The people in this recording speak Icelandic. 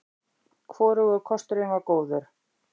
Hvorugur kosturinn var góður.